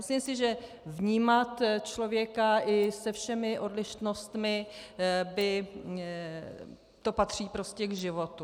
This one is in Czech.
Myslím si, že vnímat člověka i se všemi odlišnostmi, to patří prostě k životu.